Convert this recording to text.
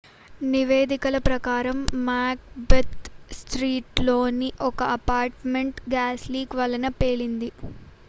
నివేదికల ప్రకారం Macbeth street లోని ఒక అపార్ట్ మెంట్ గ్యాస్ లీక్ వలన పేలింది